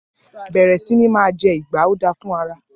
Bẹẹrẹ sini ma jẹ ìgba o da fún ara.